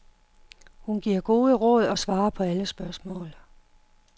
Hun giver gode råd og svarer på alle spørgsmål.